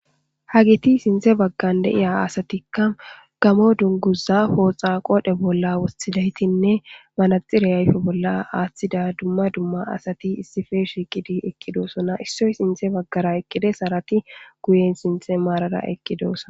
Hagiti siinththe baggan de'iya asatikka gammo dunguza pooxa qoodhe bolla wosthidaytinne malaxire ayfe bolla aaththida dumma dumma asati issife shiiqidi eqqidosona issoy sinthe baggara eqqides harati guyen sinthe maarara eqqidoosa